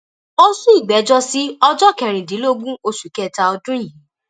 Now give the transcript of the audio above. ó sún ìgbẹjọ sí ọjọ kẹrìndínlógún oṣù kẹta ọdún yìí